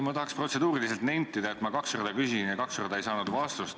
Ma tahaks protseduuriliselt nentida, et ma kaks korda küsisin ja kaks korda ei saanud vastust.